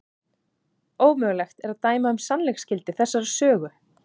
Ómögulegt er að dæma um sannleiksgildi þessarar sögu.